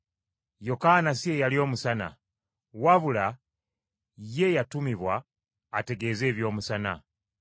Yokaana si ye yali Omusana, wabula ye yatumibwa ategeeze eby’Omusana.